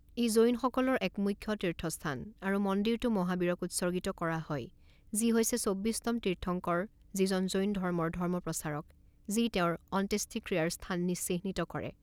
ই জৈনসকলৰ এক মুখ্য তীৰ্থস্থান আৰু মন্দিৰটো মহাবীৰক উৎসৰ্গিত কৰা হয় যি হৈছে চৌব্বিছতম তীৰ্থংকৰ যি হৈছে জৈন ধৰ্মৰ ধৰ্মপ্ৰচাৰক যি তেওঁৰ অন্ত্যেষ্টিক্ৰিয়াৰ স্থান চিহ্নিত কৰে।